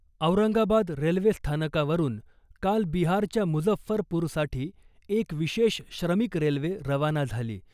औरंगाबाद रेल्वेस्थानकावरून काल बिहारच्या मुजफ्फरपूरसाठी एक विशेष श्रमिक रेल्वे रवाना झाली .